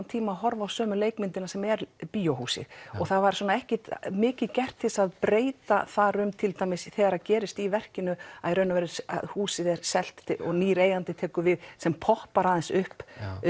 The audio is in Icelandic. tíma að horfa á sömu leikmyndina sem er bíóhúsið og það var svona ekkert mikið gert til að breyta þar um til dæmis þegar það gerist í verkinu að húsið er selt og nýr eigandi tekur við sem poppar aðeins upp